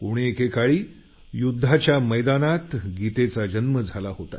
कोणा एकेकाळी युद्धाच्या मैदानात गीतेचा जन्म झाला